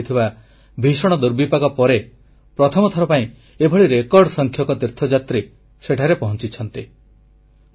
2013ରେ ଘଟିଥିବା ଭୀଷଣ ଦୁର୍ବିପାକ ପରେ ପ୍ରଥମଥର ପାଇଁ ଏଭଳି ରେକର୍ଡ ସଂଖ୍ୟକ ତୀର୍ଥଯାତ୍ରୀ ସେଠାରେ ପହଂଚିଛନ୍ତି